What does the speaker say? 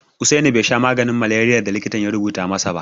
Usaini bai sha maganin maleriyar da likitan ya rubuta masa ba.